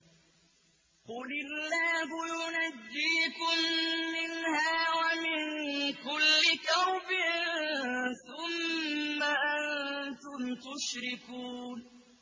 قُلِ اللَّهُ يُنَجِّيكُم مِّنْهَا وَمِن كُلِّ كَرْبٍ ثُمَّ أَنتُمْ تُشْرِكُونَ